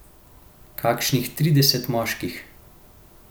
Kakšnih trideset moških.